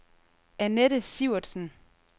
Annette Sivertsen